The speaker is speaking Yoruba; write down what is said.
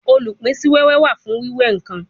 Olupin si wewe wa fun wiwe nkan